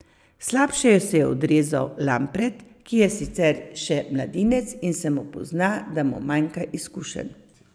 Slabše se je odrezal Lampret, ki je sicer še mladinec in se mu pozna, da mu manjka izkušenj.